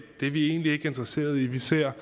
er vi egentlig ikke interesseret i vi ser